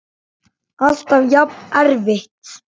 Alltaf jafn erfitt?